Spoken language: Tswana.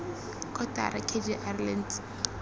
kotara k g r lentswe